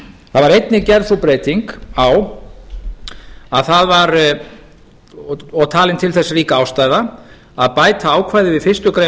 það var einnig gerð sú breyting á og talin til þess rík ástæða að bæta ákvæði við fyrstu grein